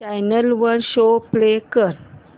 channel वर show play कर